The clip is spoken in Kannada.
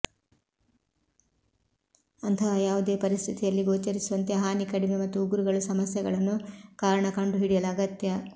ಅಂತಹ ಯಾವುದೇ ಪರಿಸ್ಥಿತಿಯಲ್ಲಿ ಗೋಚರಿಸುವಂತೆ ಹಾನಿ ಕಡಿಮೆ ಮತ್ತು ಉಗುರುಗಳು ಸಮಸ್ಯೆಗಳನ್ನು ಕಾರಣ ಕಂಡುಹಿಡಿಯಲು ಅಗತ್ಯ